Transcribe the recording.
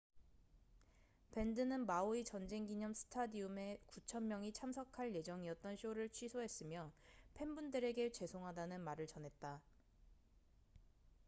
밴드는 마우이 전쟁 기념 스타디움maui's war memorial stadium에 9천 명이 참석할 예정이었던 쇼를 취소했으며 팬분들에게 죄송하다는 말을 전했다